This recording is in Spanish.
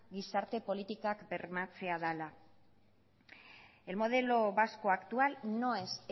gizarte politikak bermatzea dela el modelo vasco actual no es